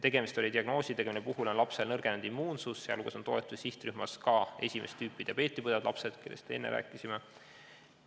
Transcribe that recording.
Tegemist oli diagnoosidega, mille korral on lapse immuunsus nõrgenenud, teiste hulgas kuulusid sihtrühma ka esimest tüüpi diabeeti põdevad lapsed, kellest enne rääkisime.